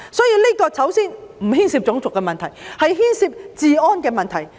因此，首先，這不牽涉種族問題而是治安的問題。